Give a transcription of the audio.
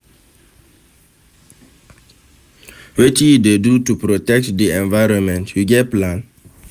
Wetin you dey do to protect di environment, you get plan?